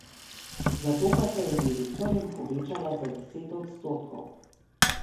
Zato pa se je direktorjem povečala za deset odstotkov.